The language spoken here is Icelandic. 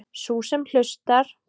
Sú sem hlustar.